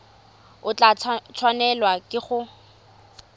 o tla tshwanelwa ke go